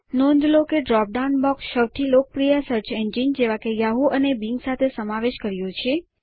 નોંધ લો કે ડાઉન ડ્રોપ બોક્સ સૌથી લોકપ્રિય સર્ચ એન્જિન જેવા કે યાહૂ અને બિંગ સાથે સમાવેશ કર્યો છે